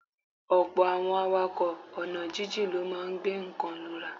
Ọ̀pọ̀ àwọn awakọ̀ ọ̀nà jíjìn ló máa ń gbé nǹkan lura.